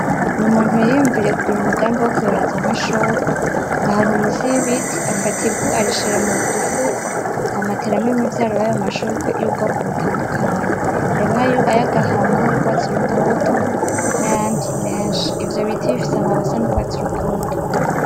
Ni umuntu yiyumviriye kugira umugambi yokuyoreza amashurwe, ahantu munsi yibiti, afata ivu arishira mu dufuko hama ateramwo imivyaro yayo mashurwe yo mubgoko butandukanye harimwo ayagahama nayurwatsi rutoto nayandi menshi ivyo biti bifise amababi asa nurwatsi rutoto.